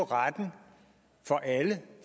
retten for alle